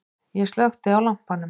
Ég slökkti á lampanum.